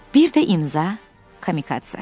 Bir də imza – Kamikatsa.